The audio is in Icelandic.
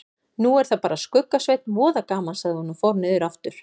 Nú er það bara Skugga-Sveinn, voða gaman sagði hún og fór niður aftur.